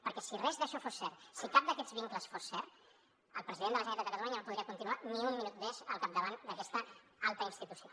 perquè si res d’això fos cert si cap d’aquests vincles fos cert el president de la generalitat de catalunya no podria continuar ni un minut més al capdavant d’aquesta alta institució